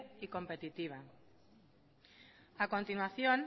y competitiva a continuación